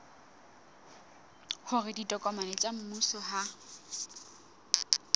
hore ditokomane tsa mmuso ha